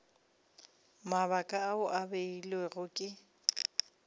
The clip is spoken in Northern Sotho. mabaka ao a beilwego ke